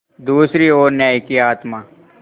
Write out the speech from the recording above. दूसरी ओर न्याय की आत्मा